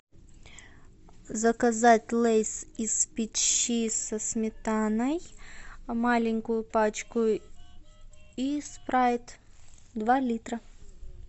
заказать лейс из печи со сметаной маленькую пачку и спрайт два литра